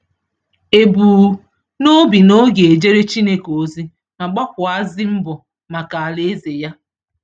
E bu n’obi na ọ ga ejere Chineke ozi ma gbakwuazi mbọ maka Alaeze Ya.